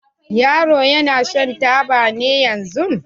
Yaron ya na shan taba ne yanzun?